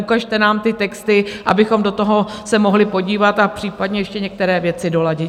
Ukažte nám ty texty, abychom do toho se mohli podívat a případně ještě některé věci doladit.